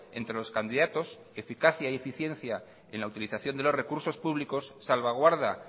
entre los candidatos eficacia y eficiencia en la utilización de los recursos públicos salvaguarda